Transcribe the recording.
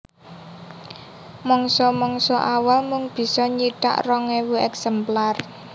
Mangsa mangsa awal mung bisa nyithak rong ewu èksemplar